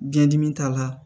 Biyɛn dimi t'a la